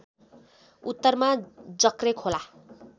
उत्तरमा जर्के खोला